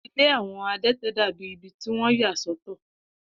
Ilé àwọn adẹ́tẹ̀ dàbìí ibi tí wọ́n yà sọ́tọ̀.